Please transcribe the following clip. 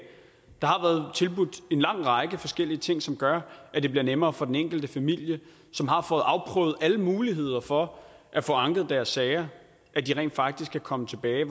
der har været tilbudt en lang række forskellige ting som gør at det bliver nemmere for den enkelte familie som har fået afprøvet alle muligheder for at få anket deres sager rent faktisk at komme tilbage